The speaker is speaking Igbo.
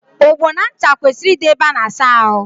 Ogbo na ncha kwesịrị ịdị ébé a na-asa ahụ.